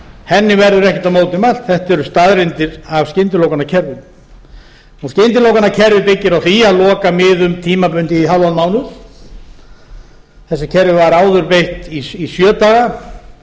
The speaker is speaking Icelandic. henni verður ekkert á móti mælt þetta eru staðreyndir af skyndilokunarkerfinu skyndilokunarkerfið byggir á því að loka miðum tímabundið í hálfan mánuð þessu kerfi var áður beitt í sjö daga